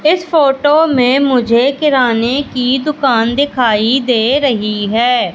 इस फोटो में मुझे किराने की दुकान दिखाई दे रही है।